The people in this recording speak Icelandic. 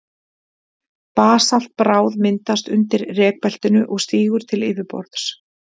Basaltbráð myndast undir rekbeltinu og stígur til yfirborðs.